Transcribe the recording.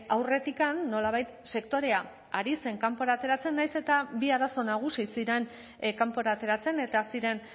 aurretik nolabait sektorea ari zen kanpora ateratzen nahiz eta bi arazo nagusi ziren kanpora ateratzen eta ziren